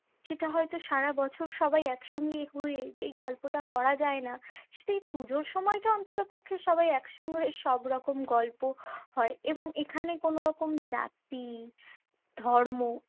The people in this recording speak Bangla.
যেটা হয়তো সারাবছর সবাই একসঙ্গে হয়ে যেই গল্পটা করা যায় না সেটা এই পুজোর সময়টা অন্ততপক্ষে সবাই একসঙ্গে হয়ে সবরকম গল্প হয়। এবং এখানে কোনো রকম জাতি, ধর্ম